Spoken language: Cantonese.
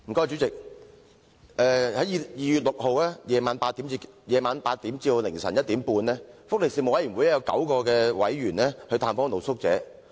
主席，在2月6日晚上8時至凌晨1時半，福利事務委員會有9位委員曾探訪露宿者。